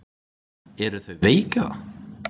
Eru þau veik eða?